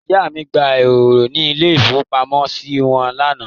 Ìyá mi gba eúrò ní ilé-ìfowópamọ́sí wọn lánàá.